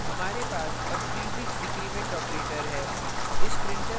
हमारे पास अब prefix decrement operator है